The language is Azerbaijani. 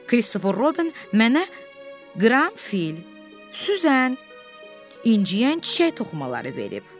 Kristofer Robin mənə qaranfil, süzən, inciyən çiçək toxumaları verib.